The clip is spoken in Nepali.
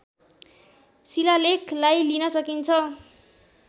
शिलालेखलाई लिन सकिन्छ